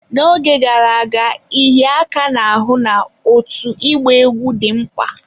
N'oge gara aga, ịhịa aka n'ahụ na otu ịgba egwú dị mkpa.